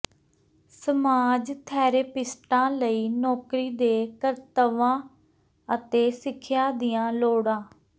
massage ਥੈਰੇਪਿਸਟਾਂ ਲਈ ਨੌਕਰੀ ਦੇ ਕਰਤੱਵਾਂ ਅਤੇ ਸਿੱਖਿਆ ਦੀਆਂ ਲੋੜਾਂ